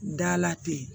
Dala ten